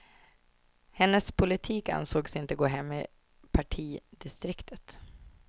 Hennes politik ansågs inte gå hem i partidistriktet.